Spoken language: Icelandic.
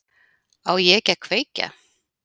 Á ég ekki að kveikja?